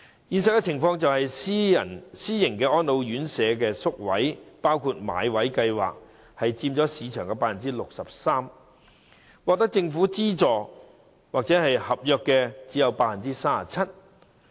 現實情況是，私營安老院舍宿位佔市場 63%， 而獲政府津助或合約院舍則只有 37%。